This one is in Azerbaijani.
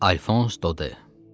Alfons Dode.